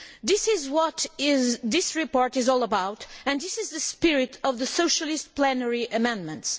This is what this report is all about and this is the spirit of the Socialist plenary amendments.